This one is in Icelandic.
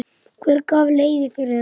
Hver gaf leyfi fyrir þessu?